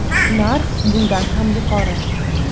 Narx bundan ham yuqori.